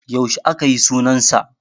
Yaushe akayi sunan sa?